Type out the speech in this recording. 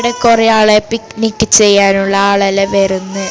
ഇവിടെ കുറെ ആളെ പിക്നിക് ചെയ്യാനുള്ള ആളെല്ലാം വരുന്നു.